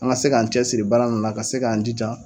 An ka se k'an cɛsiri baara ninnnu na ka se k'an jija.